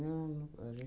não. A